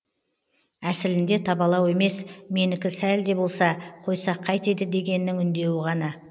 әсілінде табалау емес менікі сәл де болса қойсақ қайтеді дегеннің үндеуі ғана